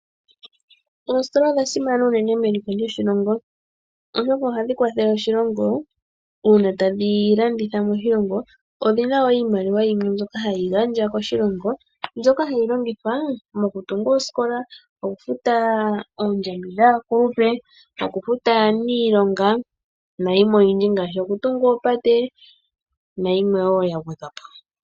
Oositola odha simana unene meliko lyoshilongo, oshoka oha dhi kwathele oshilongo uuna tadhi landitha moshilongo odhina woo iimaliwa yimwe mbyoka ha yi gandjwa moshilongo. Mbyoka ha yi longithwa moku tunga oosikola, okufuta oondjambi dhakulupe, okufuta aniilonga, nayimwe oyindji ngaashi oku tunga oopate, nayimwe woo ya gwedhwa po.